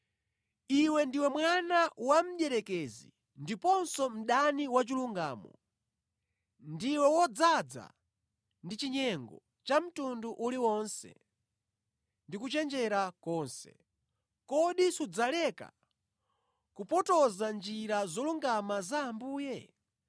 “Iwe ndiwe mwana wa mdierekezi ndiponso mdani wa chilungamo! Ndiwe wodzaza ndi chinyengo cha mtundu uliwonse ndi kuchenjera konse. Kodi sudzaleka kupotoza njira zolungama za Ambuye?